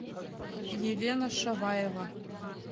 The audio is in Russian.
елена шаваева